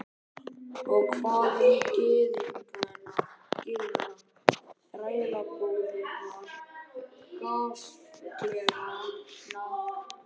Og hvað um gyðingana, þrælabúðirnar, gasklefana?